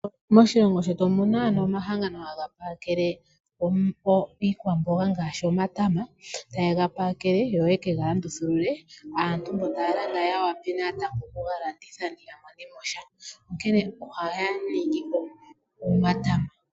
Moshilongo shetu omuna omahangano haga pakele iikwamboga ngaashi omatama, ta yega pakele yo ye kega landithulule, yo aantu mbono taya landa ya wape natango oku ga landitha po ya monemo sha, onkene ohaya ningi omatama.